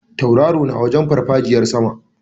Tauraro na wajen farfajiyar sama.